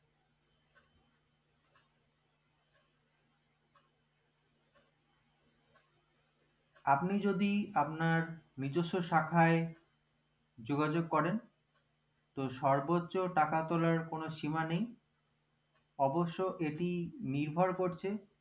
আপনি যদি আপনার নিজেস্য শাখায় যোগাযোগ করেন তো সর্বোচ্চ টাকা তোলার কোনো শিমা নেই অবশ্যই এটি নির্ভর করছে